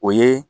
O ye